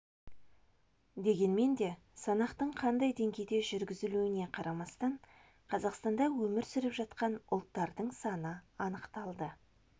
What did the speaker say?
дегенмен де санақтың қандай деңгейде жүргізілуіне қарамастан қазақстанда өмір сүріп жатқан ұлттардың саны анықталды